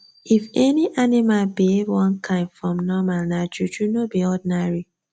if any animal behave one kind from normal nah juju no be ordinary